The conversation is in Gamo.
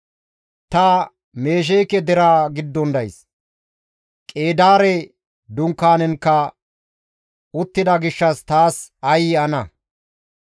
Ta Mesheeke deraa giddon days; Qeedaare dunkaanenkka uttida gishshas taas aayye ana!